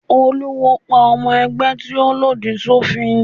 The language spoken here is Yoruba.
Olúwo pa ọmọ ẹgbẹ́ tí ó lòdì sófin.